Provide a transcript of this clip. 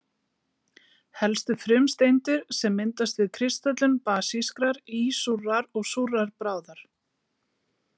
Helstu frumsteindir sem myndast við kristöllun basískrar, ísúrrar og súrrar bráðar.